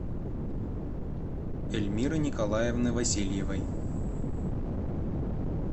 эльмиры николаевны васильевой